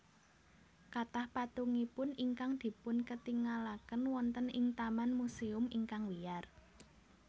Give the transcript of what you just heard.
Kathah patungipun ingkang dipunketingalaken wonten ing taman musèum ingkang wiyar